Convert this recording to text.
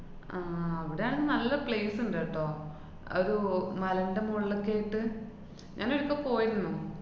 ആഹ് അവടെയാണെ നല്ല place ഇണ്ട് ട്ടോ. അത് ഒ~ മലേന്‍റെ മോളിലൊക്കെ ആയിട്ട്. ഞാനൊരിക്കെ പോയിരുന്നു.